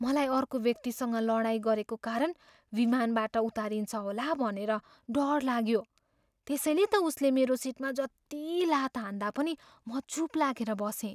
मलाई अर्को व्यक्तिसँग लडाइँ गरेको कारण विमानबाट उतारिन्छ होला भनेर डर लाग्यो। त्यसैले त उसले मेरो सिटमा जति लात हान्दा पनि म चुप लागेर बसेँ।